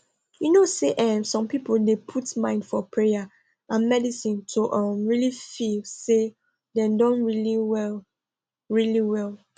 you know say eeh some people dey put mind for payer and medicine to um really feel say dem don really well really well